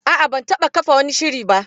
A'a, ban taba kafa wani shiri ba.